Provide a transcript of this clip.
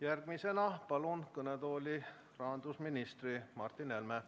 Järgmisena palun kõnetooli rahandusminister Martin Helme.